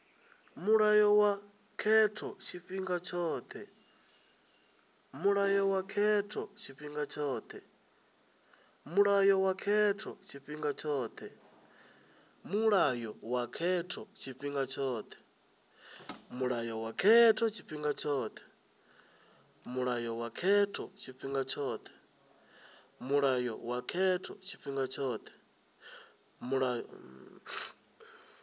mulayo wa khetho tshifhinga tshothe